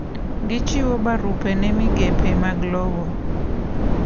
Gichiwo barupe ne migepe mag lowo.